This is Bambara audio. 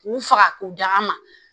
K'u faga k'u da ma